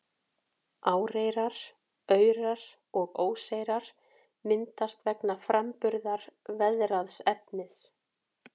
Áreyrar, aurar og óseyrar myndast vegna framburðar veðraðs efnis.